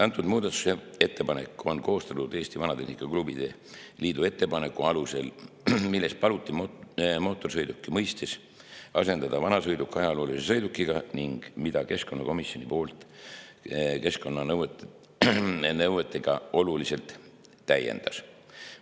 See muudatusettepanek on koostatud Eesti Vanatehnika Klubide Liidu ettepaneku alusel, milles paluti mootorsõiduki mõistes asendada sõna "vanasõiduk" sõnadega "ajalooline sõiduk" ning mida keskkonnakomisjon keskkonnanõuetega oluliselt täiendas.